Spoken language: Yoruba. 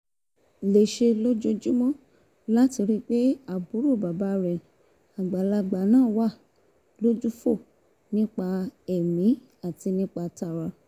lè ṣe lójoojúmọ́ láti rí i pé àbúrò bàbá rẹ̀ àgbàlagbà náà wà lójúfò nípa tẹ̀mí àti nípa tara